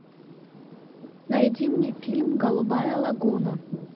найди мне фильм голубая лагуна